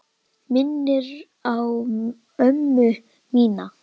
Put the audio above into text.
Minnir á ömmu mína.